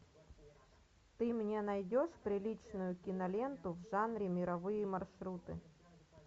ты мне найдешь приличную киноленту в жанре мировые маршруты